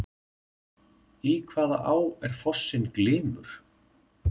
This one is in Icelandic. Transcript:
Í hvaða á er fossinn Glymur?